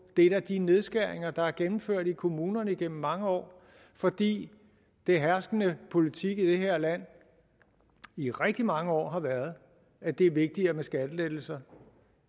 det er da de nedskæringer der er gennemført i kommunerne igennem mange år fordi den herskende politik i det her land i rigtig mange år har været at det er vigtigere med skattelettelser